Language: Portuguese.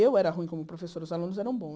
Eu era ruim como professora, os alunos eram